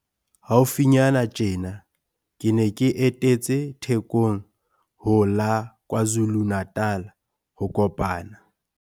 Haufinyana tjena ke ne ke etetse Thekong ho la KwaZulu-Natal ho kopana.